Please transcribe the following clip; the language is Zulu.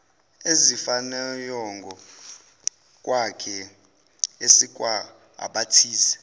ezifanayongokwakhe esekwa abathize